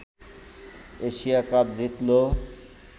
Asia Cup জিতলো